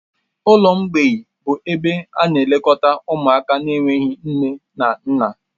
Ụlọ mgbịị bụ ebe na-elekọta ụmụaka na-enweghị nne na nna